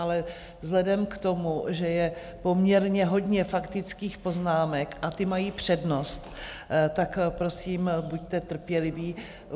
Ale vzhledem k tomu, že je poměrně hodně faktických poznámek a ty mají přednost, tak prosím buďte trpěliví.